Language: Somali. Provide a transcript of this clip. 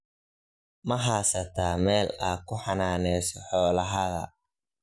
Maa haasatax meel aa kuxananeyso xolahadha.